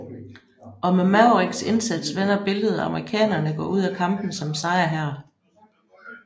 Og med Mavericks indsats vender billedet og amerikanerne går ud af kampen som sejrherre